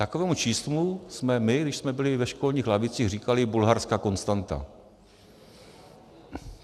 Takovému číslu jsme my, když jsme byli ve školních lavicích, říkali bulharská konstanta.